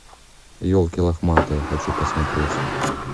елки лохматые хочу посмотреть